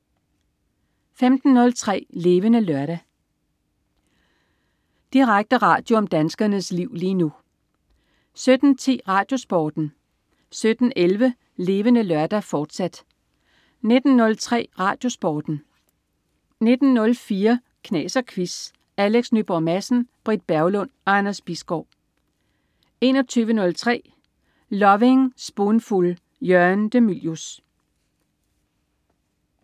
15.03 Levende Lørdag. Direkte radio om danskernes liv lige nu 17.10 RadioSporten 17.11 Levende Lørdag, fortsat 19.03 RadioSporten 19.04 Knas og Quiz. Alex Nyborg Madsen, Britt Berglund og Anders Bisgaard 21.03 Lovin' Spoonful. Jørgen de Mylius